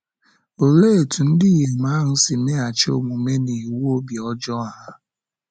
Olee etú ndị inyom ahụ si meghachi omume n’iwu obi ọjọọ ahụ?